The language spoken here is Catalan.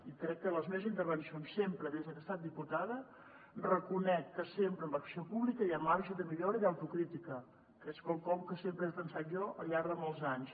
i crec que en les meves intervencions sempre des que he estat diputada reconec que sempre en l’acció pública hi ha marge de millora i d’autocrítica que és quelcom que sempre he defensat jo al llarg de molts anys